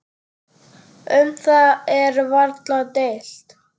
Um það er varla deilt.